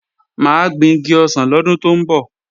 Mà á gbin igi ọsàn lọ́dún tó ń bọ̀